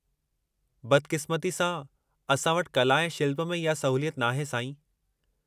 बदक़िस्मती सां, असां वटि कला ऐं शिल्प में इहा सहूलियत नाहे, साईं।